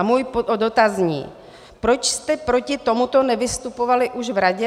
A můj dotaz zní: Proč jste proti tomuto nevystupovali už v Radě?